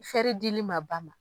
Fɛri dili ma ba ma,